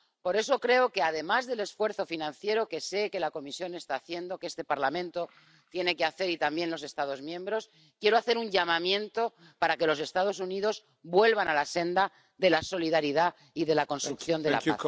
Por eso, además de apelar al esfuerzo financiero —que sé que la Comisión está haciendo, que este Parlamento tiene que hacer y también los Estados miembros—, quiero hacer un llamamiento para que los Estados Unidos vuelvan a la senda de la solidaridad y de la construcción de la paz.